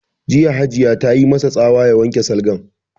Jiya Hajiya ta yi ma sa tsawa ya wanke salgan!